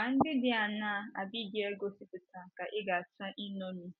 Àgwà ndị dị aṅaa Abigail gosipụtara ka ị ga - achọ iṅomi?